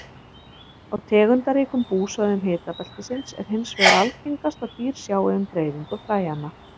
Á tegundaríkum búsvæðum hitabeltisins er hins vegar algengast að dýr sjái um dreifingu fræjanna.